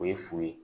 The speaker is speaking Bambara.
O ye fu ye